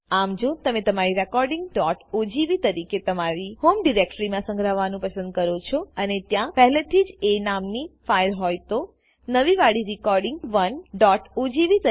આમ જો તમે તમારી recordingઓજીવી તરીકે તમારી હોમ ડાયરેક્ટરીમા સગ્રહવું પસંદ કરો છોઅને ત્યાં પહેલેથી જ એ નામ ની ફાઈલ હોય તો નવી વાડી recording 1ઓજીવી